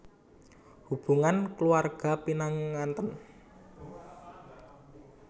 Hubungan kulawarga pinanganten